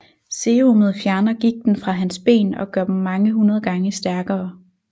Serumet fjerner gigten fra hans ben og gør dem mange hundrede gange stærkere